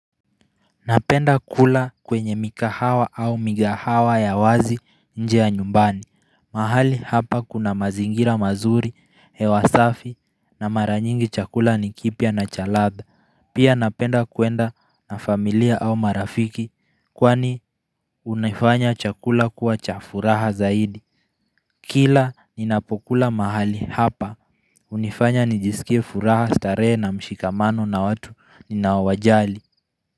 Napenda kula kwenye mikahawa au migahawa ya wazi nje ya nyumbani. Mahali hapa kuna mazingira mazuri, hewa safi na mara nyingi chakula ni kipya na cha ladha. Pia napenda kuenda na familia au marafiki kwani unaifanya chakula kuwa cha furaha zaidi. Kila ninapokula mahali hapa. Unifanya nijisikie furaha starehe na mshikamano na watu ninaowajali.